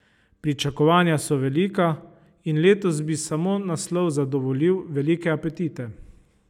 Pričakovanja so velika in letos bi samo naslov zadovoljil velike apetite.